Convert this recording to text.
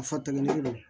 A fɔ tɛmɛnen don